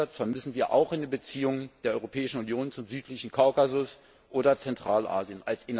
Diesen Ansatz vermissen wir auch in den Beziehungen der Europäischen Union zum südlichen Kaukasus oder zu Zentralasien.